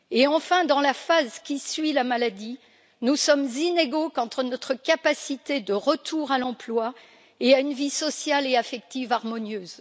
Enfin, dans la phase qui suit la maladie, nous sommes inégaux quant à notre capacité de retour à l'emploi et à une vie sociale et affective harmonieuse.